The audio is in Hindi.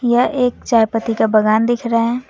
यह एक चाय पत्ती का बागान दिख रहा है।